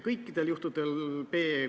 See on olnud elementaarne.